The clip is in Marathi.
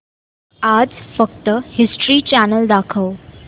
आज फक्त हिस्ट्री चॅनल दाखव